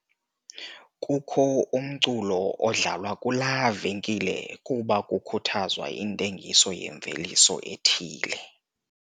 Kukho umculo odlalwa kulaa venkile kuba kukhuthazwa intengiso yemveliso ethile.